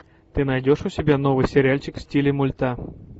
ты найдешь у себя новый сериальчик в стиле мульта